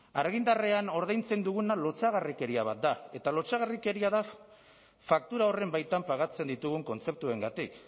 argindarrean ordaintzen duguna lotsagarrikeria bat da eta lotsagarrikeria da faktura horren baitan pagatzen ditugun kontzeptuengatik